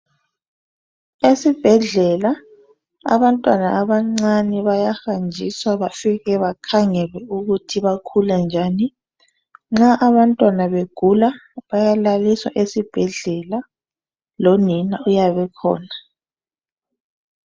Esibhadlela abantwana abancane bayahanjiswa bafike bakhangele ukuthi bakhula njani. Nxa abantwana begula bayalaliswa esibhedlela, lonina uyabe ekhona